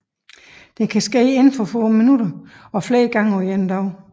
Det kan ske inden for minutter og flere gange på en dag